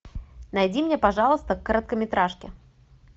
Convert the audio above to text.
найди мне пожалуйста короткометражку